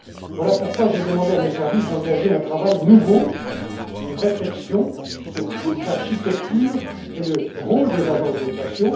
Voilà pourquoi j'ai demandé à mes services d'engager un travail nouveau de réflexion sur toute l'architecture et le rôle des agences de notation.